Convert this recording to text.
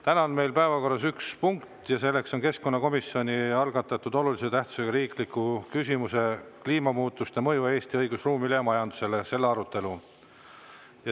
Täna on meil päevakorras üks punkt ja see on keskkonnakomisjoni algatatud olulise tähtsusega riikliku küsimuse "Kliimamuutuste mõju Eesti õigusruumile ja majandusele" arutelu.